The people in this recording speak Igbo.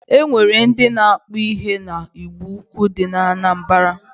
E nwere ndị na-akpụ ihe na Igboukwu dị na Anambara.